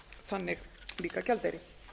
þannig líka gjaldeyri